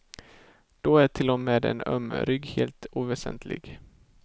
Då är till och med en öm rygg helt oväsentlig.